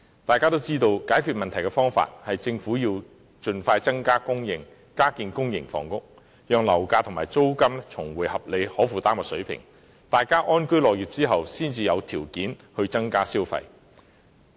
大家也知道，解決問題的方法是政府應盡快增加供應，加建公營房屋，讓樓價和租金重回合理及可負擔水平，大家安居樂業後才可以有條件增加消費。